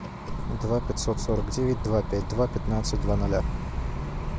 два пятьсот сорок девять два пять два пятнадцать два ноля